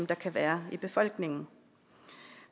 der kan være i befolkningen